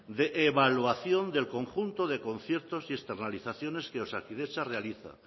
de evaluación del conjunto de conciertos y externalizaciones que osakidetza realiza